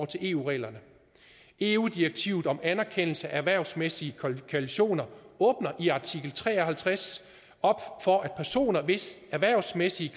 til eu reglerne eu direktivet om anerkendelse af erhvervsmæssige kvalifikationer åbner i artikel tre og halvtreds op for at personer hvis erhvervsmæssige